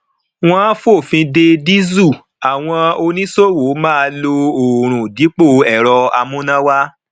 wọn fòfin de dísù àwọn oníṣòwò máa lo oòrùn dípò ẹrọ amúnáwá